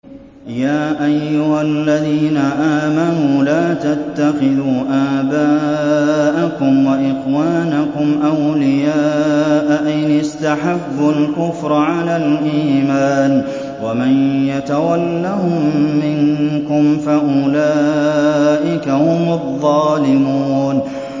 يَا أَيُّهَا الَّذِينَ آمَنُوا لَا تَتَّخِذُوا آبَاءَكُمْ وَإِخْوَانَكُمْ أَوْلِيَاءَ إِنِ اسْتَحَبُّوا الْكُفْرَ عَلَى الْإِيمَانِ ۚ وَمَن يَتَوَلَّهُم مِّنكُمْ فَأُولَٰئِكَ هُمُ الظَّالِمُونَ